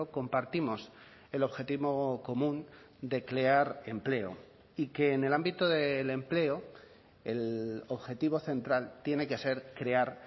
compartimos el objetivo común de crear empleo y que en el ámbito del empleo el objetivo central tiene que ser crear